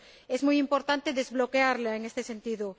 es muy importante desbloquearla en este sentido.